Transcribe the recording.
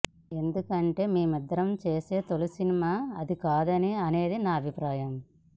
ఎందుకంటే మేమిద్దరం తొలిసారి చేసే సినిమా అది కాదు అనేది నా అభిప్రాయం